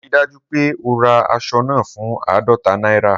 Rii daju pe o ra asọ naa fun aadọta naira!